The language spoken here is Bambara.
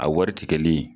A wari tigɛli